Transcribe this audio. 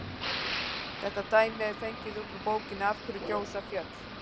Þetta dæmi er fengið upp úr bókinni Af hverju gjósa fjöll?